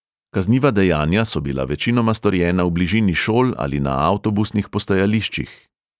Kazniva dejanja so bila večinoma storjena v bližini šol ali na avtobusnih postajališčih.